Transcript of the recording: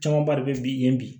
Camanba de bɛ bi yen bi